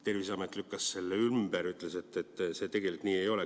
Terviseamet lükkas selle ümber, ütles, et see tegelikult nii ei ole.